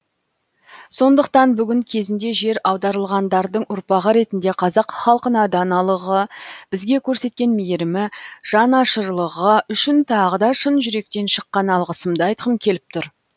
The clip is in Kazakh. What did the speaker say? сондықтан бүгін кезінде жер аударылғандардың ұрпағы ретінде қазақ халқына даналығы бізге көрсеткен мейірімі жанашырлығы үшін тағы да шын жүректен шыққан алғысымды айтқым келіп тұр